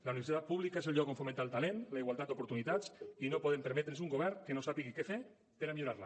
la universitat pública és el lloc on fomentar el talent la igualtat d’oportunitats i no podem permetre’ns un govern que no sàpiga què fer per millorar la